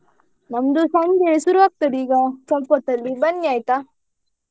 ನಮ್ದು ಸಂಜೆ ಶುರು ಆಗ್ತದೆ ಈಗ ಸ್ವಲ್ಪ ಹೊತ್ತಲ್ಲಿ ಬನ್ನಿ ಆಯ್ತಾ?